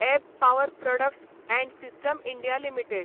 एब power products and system India limited